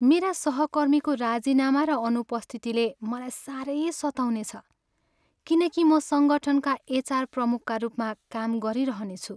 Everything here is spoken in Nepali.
मेरा सहकर्मीको राजीनामा र अनुपस्थितिले मलाई सारै सताउनेछ किनकि म सङ्गठनमा एचआर प्रमुखका रूपमा काम गरिरहनेछु।